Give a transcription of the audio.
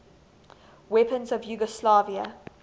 weapons of yugoslavia